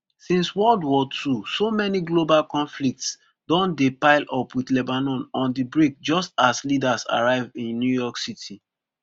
since world war two so many global conflicts don dey pile up wit lebanon on di brink just as leaders arrive in new york city